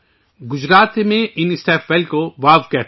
گجرات میں ان سٹیپ ویلوں کو واؤ کہتے ہیں